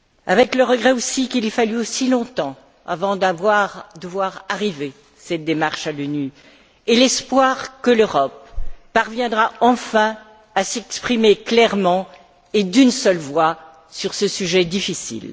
Avec le regret aussi qu'il ait fallu aussi longtemps avant de voir aboutir cette démarche à l'ONU et l'espoir que l'Europe parviendra enfin à s'exprimer clairement et d'une seule voix sur ce sujet difficile.